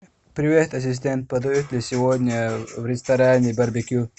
привет ассистент подают ли сегодня в ресторане барбекю